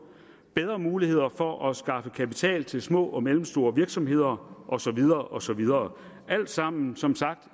bedre muligheder for at skaffe kapital til små og mellemstore virksomheder og så videre og så videre alt sammen som sagt